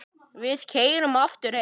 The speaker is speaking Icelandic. Við keyrðum aftur heim.